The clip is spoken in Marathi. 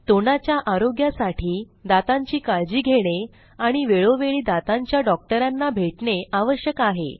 तोंडाच्या आरोग्यासाठी दातांची काळजी घेणे आणि वेळोवेळी दातांच्या डॉक्टरांना भेटणे आवश्यक आहे